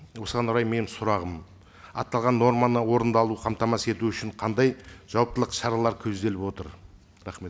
осыған орай менің сұрағым аталған норманы орындалуын қамтамасыз ету үшін қандай жауаптылық шаралар көзделіп отыр рахмет